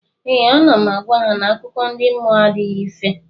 Ee, ana m agwa ha na akụkọ ndị mmụọ adịghị ife